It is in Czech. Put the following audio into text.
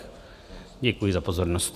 Děkuji za pozornost.